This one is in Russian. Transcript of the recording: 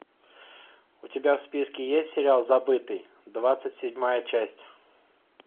у тебя в списке есть сериал забытый двадцать седьмая часть